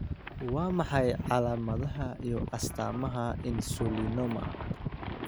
Waa maxay calaamadaha iyo astaamaha Insulinoma?